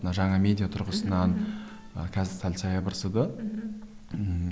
мына жаңа медиа тұрғысынан қазір сәл саябырсыды мхм ммм